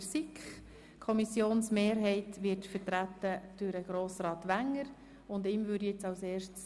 der SiK. Die Kommissionsmehrheit wird durch Grossrat Wenger vertreten.